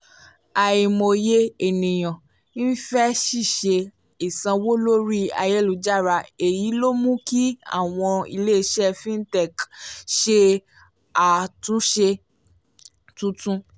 àìmọye ènìyàn ń fẹ́ ṣíṣe ìsanwó lórí ayélujára èyí ló mú kí àwọn ilé-iṣẹ́ fintech ṣe àtúnṣe tuntun